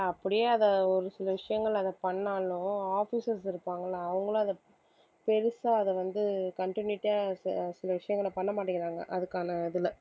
அப்படியே அதை ஒரு சில விஷயங்கள் அதை பண்ணாலும் officers இருப்பாங்கல்ல அவங்களும் அதை பெருசா அதை வந்து ஆ அஹ் சில விஷயங்களை பண்ணமாட்டேங்குறாங்க அதுக்கான இதுல